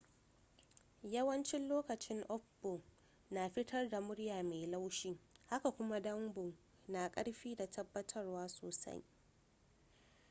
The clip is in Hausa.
yawancin lokoci up-bow na fitar da murya mai laushi haka kuma down-bow na da karfi da tabatarwa sosai